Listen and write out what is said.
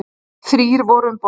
Þrír voru um borð.